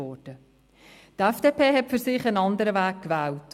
Die FDP hat für sich einen anderen Weg gewählt.